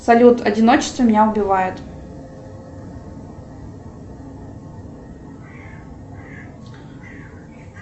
салют одиночество меня убивает